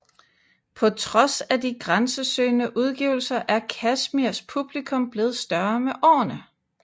På trods af de grænsesøgende udgivelser er Kashmirs publikum blevet større med årene